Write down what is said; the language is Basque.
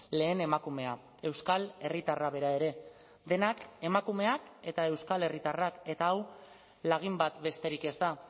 lehen emakumea euskal herritarra bera ere denak emakumeak eta euskal herritarrak eta hau lagin bat besterik ez da